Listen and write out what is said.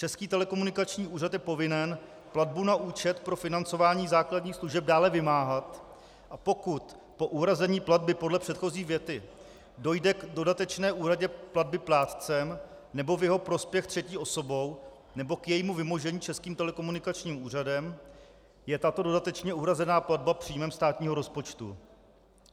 Český telekomunikační úřad je povinen platbu na účet pro financování základních služeb dále vymáhat, a pokud po uhrazení platby podle předchozí věty dojde k dodatečné úhradě platby plátcem nebo v jeho prospěch třetí osobou nebo k jejímu vymožení Českým telekomunikačním úřadem, je tato dodatečně uhrazená platba příjmem státního rozpočtu."